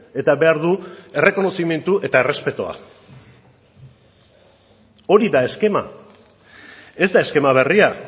eta behar du errekonozimendu eta errespetua hori da eskema ez da eskema berria